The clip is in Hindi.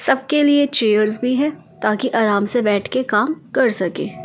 सबके लिए चेयर्स भी है ताकि आराम से बैठ के काम कर सके।